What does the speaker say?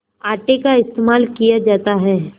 आटे का इस्तेमाल किया जाता है